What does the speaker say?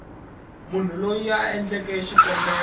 munhu loyi a endleke xikombelo